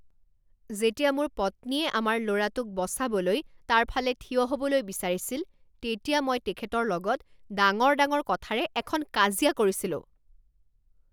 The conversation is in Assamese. যেতিয়া মোৰ পত্নীয়ে আমাৰ ল'ৰাটোক বচাবলৈ তাৰফালে থিয় হ'বলৈ বিচাৰিছিল তেতিয়া মই তেখেতৰ লগত ডাঙৰ ডাঙৰ কথাৰে এখন কাজিয়া কৰিছিলোঁ।